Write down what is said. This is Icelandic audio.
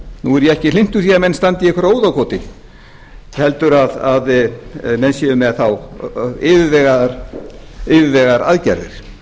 nú er ég ekki hlynntur því að menn standi í einhverju óðagoti heldur að menn séu með þá yfirvegaðar aðgerðir